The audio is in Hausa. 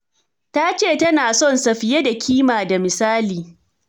Ta ce, tana son sa fiye da kima da misali.